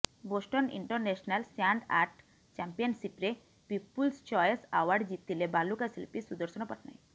Boston international sand art ଚାମ୍ପିୟନଶିପ୍ରେ people's choice award ଜିତିଲେ ବାଲୁକା ଶିଳ୍ପୀ ସୁଦର୍ଶନ ପଟ୍ଟନାୟକ